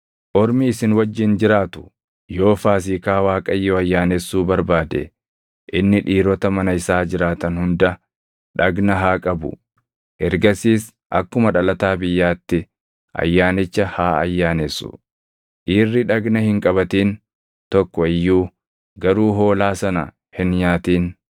“Ormi isin wajjin jiraatu yoo Faasiikaa Waaqayyoo ayyaanessuu barbaade inni dhiirota mana isaa jiraatan hunda dhagna haa qabu; ergasiis akkuma dhalataa biyyaatti ayyaanicha haa ayyaanessu. Dhiirri dhagna hin qabatin tokko iyyuu garuu hoolaa sana hin nyaatin.